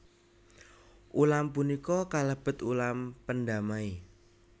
Ulam punika kalebet ulam pendamai